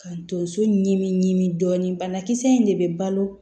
Ka tonso ɲimi dɔɔni banakisɛ in de bɛ balo